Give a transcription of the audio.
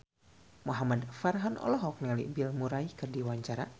Muhamad Farhan olohok ningali Bill Murray keur diwawancara